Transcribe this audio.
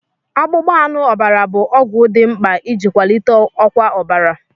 Akpụkpọ anụ ọbara bụ ọgwụ dị mkpa iji kwalite ọkwa ọbara.